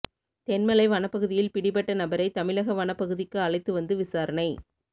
தென்மலை வனப்பகுதியில் பிடிப்பட்ட நபரை தமிழக வனப் பகுதிக்கு அழைத்து வந்து விசாரணை